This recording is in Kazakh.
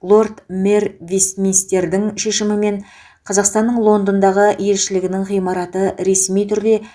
лорд мэр вестминстердің шешімімен қазақстанның лондондағы елшілігінің ғимараты ресми түрде